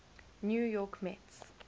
new york mets